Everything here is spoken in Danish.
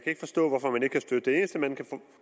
ikke forstå hvorfor man ikke kan støtte det det eneste man kan